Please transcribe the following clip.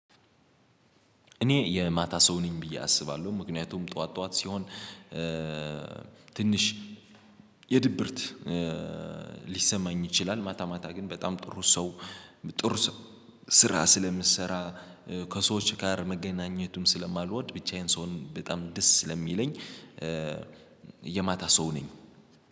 እኔ የማታ ሰው ነኝ ብዬ አስባለሁ ምክንያቱም ጠዋት ጠዋት ሲሆን ትንሽ የድብርት ሊሰማኝ ይችላል። ማታ ማታ ግን በጣም ጥሩ ሰው ጥሩ ስራ ስለምትሰራ ከሰዎች ጋር መገናኘቱም ስለማልወድ ብቻዬን ስሆን በጣም ደስ ስለሚለኝ። የማታ ሰው ነኝ